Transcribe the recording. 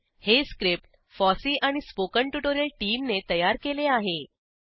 httpspoken tutorialorgNMEICT Intro हे script FOSSEE आणि spoken tutorial टीमने तयार केले आहे